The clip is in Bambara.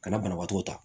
Ka na banabaatɔw ta